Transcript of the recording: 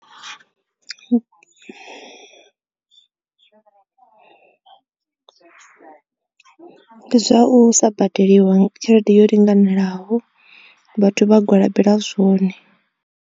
Ndi zwa u sa badeliwa tshelede yo linganelaho vhathu vha gwalabela zwone.